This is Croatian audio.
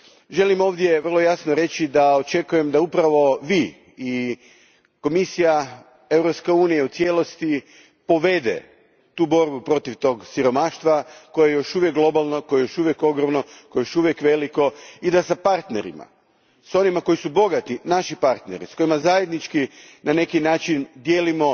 Želim ovdje vrlo jasno reći da očekujem da upravo vi i Komisija Europske unije u cijelosti povedete borbu protiv siromaštva koje je još uvijek globalno, koje je još uvijek ogromno, koje je još uvijek veliko i da s partnerima, s onima koji su naši bogati partneri, s kojima zajednički na neki način dijelimo